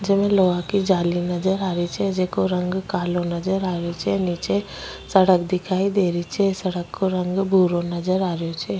जेमे लोहा की जाली नजर आ री छे जेको रंग कालो नजर आ रेहो छे नीचे सड़क दिखाई दे री छे सड़क को रंग भूरो नजर आ रेहो छे।